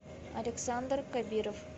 александр кабиров